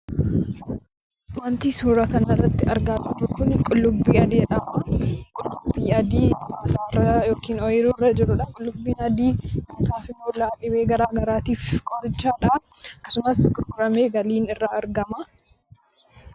Wanti suuraa kana irratti argaa jirru kun qullubbii adii jedhama. Qullubbii adii maasaarra yookiin ooyiruurra jirudha. Qullubbii adiin nyaataaf ni oola. Dhibee garagaraatiif qorichadha. Akkasumas gurguramee galiin irraa argama.